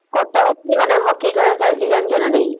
କଟକରେ ପୁଣି ମାନେ ହକି ଖେଳ ଚାଲିଚି ଜାଣିଚ ନା ନାଇଁ ?